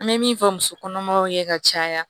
An bɛ min fɔ muso kɔnɔmaw ye ka caya